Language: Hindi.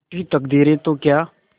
रूठी तकदीरें तो क्या